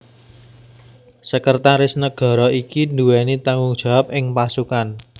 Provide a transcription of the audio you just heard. Sekretaris Negara iki nduweni tanggung jawab ing pasukan